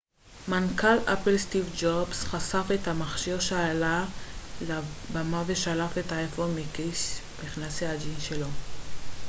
מנכ ל אפל סטיב ג'ובס חשף את המכשיר כשעלה לבמה ושלף את האייפון מכיס מכנסי הג'ינס שלו